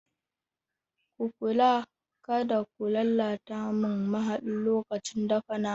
Ku kula kada ku lalata mu mahadi lokacin dafa nama.